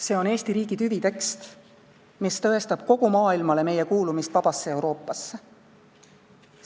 See on Eesti riigi tüvitekst, mis tõestab kogu maailmale meie kuulumist vabasse Euroopasse.